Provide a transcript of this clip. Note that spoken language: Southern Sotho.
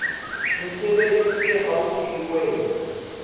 mesebetsi se haufi le wena